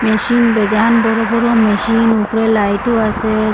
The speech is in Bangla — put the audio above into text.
মেশিন বড় বড় মেশিন উপরে লাইটও আসে।